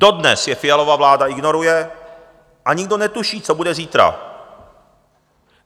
Dodnes je Fialova vláda ignoruje a nikdo netuší, co bude zítra.